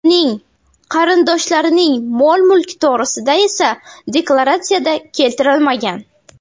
Uning qarindoshlarining mol-mulki to‘g‘risida esa deklaratsiyada keltirilmagan.